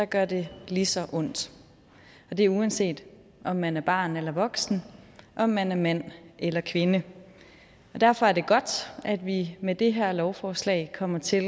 gør det lige så ondt og det er uanset om man er barn eller voksen om man er mand eller kvinde derfor er det godt at vi med det her lovforslag kommer til